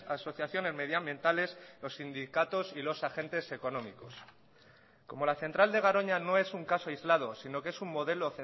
asociaciones medioambientales los sindicatos y los agentes económicos como la central de garoña no es un caso aislado sino que es un modelo